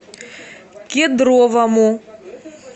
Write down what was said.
кедровому